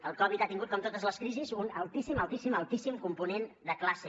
el covid ha tingut com totes les crisis un altíssim altíssim altíssim component de classe